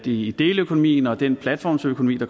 i deleøkonomien og den platformsøkonomi